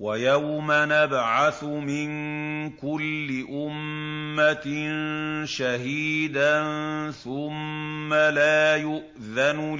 وَيَوْمَ نَبْعَثُ مِن كُلِّ أُمَّةٍ شَهِيدًا ثُمَّ لَا يُؤْذَنُ